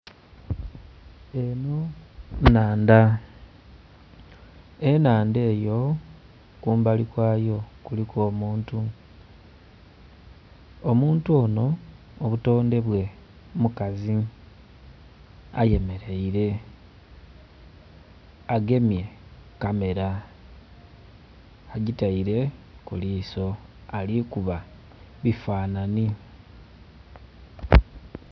Eno nnhandha ennhandha eyo kumbali kwayo kuliku omuntu omuntu ono obutondhe bwe mukazi ayemerere agemye kamera agiteire kuliso alikuba bifanhanhi